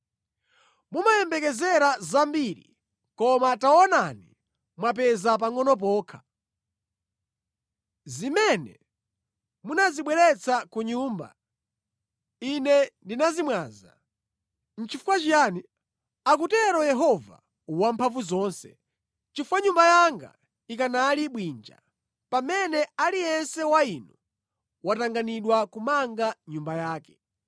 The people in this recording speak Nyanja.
“Mumayembekezera zambiri, koma taonani mwapeza pangʼono pokha. Zimene munazibweretsa ku nyumba, Ine ndinazimwaza. Nʼchifukwa chiyani?” Akutero Yehova Wamphamvuzonse. “Chifukwa Nyumba yanga ikanali bwinja, pamene aliyense wa inu watanganidwa kumanga nyumba yake.